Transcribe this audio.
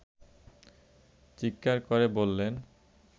চিৎকার করে বললেন